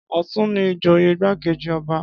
Ọ̀tún ni ìjòyè igbákejì ọba